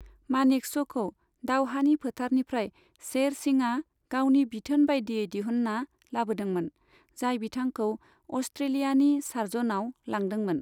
मानेकश'खौ दावहानि फोथारनिफ्राय शेर सिंहआ गावनि बिथोन बाइदियै दिहुनना लाबोदोंमोन, जाय बिथांखौ अस्ट्रेलियानि सार्जननाव लांदोंमोन।